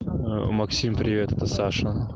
максим привет это саша